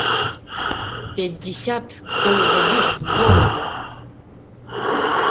пятьдесят кто угодит в голову